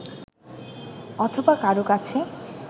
অথবা কারও কাছে